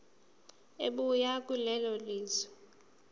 ebuya kulelo lizwe